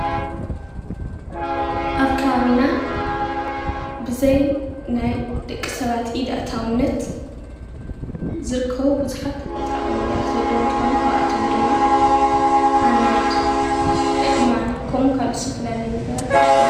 አብ ከባቢና ብዘይ ናይ ደቂ ሰባት ኢድ አእታውነት ዝርከቡ ቡዙሓት ተፈጥሮአዊ ነገራት ዘለው እንተኮኑ ካብአቶም ድማ ሓመድ፣ ኣእማን ከምኡውን ዝተፈላለዩ ነገራት ይርከቡ፡፡